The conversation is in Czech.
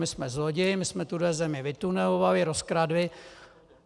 My jsme zloději, my jsme tuhle zemi vytunelovali, rozkradli.